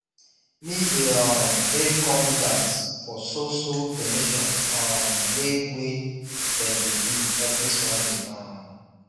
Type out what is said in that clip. me dey um hail congregants for so so donations um wey wey dem dey do every sunday um